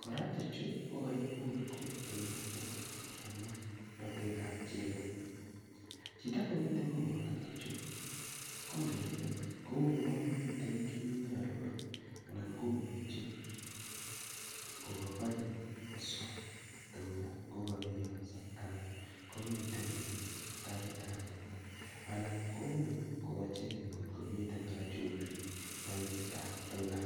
kora tuchu kokoibur koik tuga chebo banyek, ma tugab chego. Chito nemiten koboto tuchu, ko ngele kouwon metin kiy nearoru anan komuche kogakonye koswa tuga ngokabiyoso anan komiten beek tabit ab tuga anan komuch ngokochegeni ngomiten chumbik moinget ab tuga.